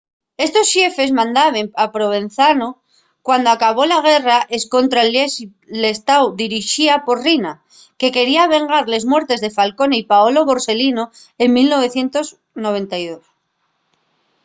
estos xefes mandaben en provenzano cuando acabó la guerra escontra l'estáu dirixida por riina que quería vengar les muertes de falcone y paolo borselino en 1992